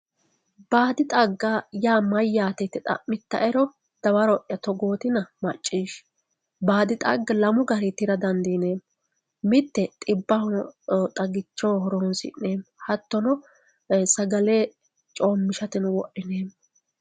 baadi xagga yaa mayyate yite xammittaero dawaro'ya togootina macciishshi baadi xagga lamu garinni tira dandiineemmo mitte xibbaho xagichoho horonsi'neemmo hattono ee sagale coommishateno wodhineemmo